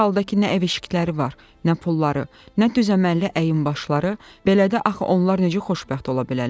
Bir halda ki, nə ev-eşikləri var, nə pulları, nə düzə-məlli əyin-başları, belə də axı onlar necə xoşbəxt ola bilərlər?